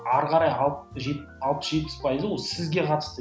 ары қарай алпыс жетпіс пайызы ол сізге қатысты